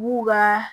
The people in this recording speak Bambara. B'u ka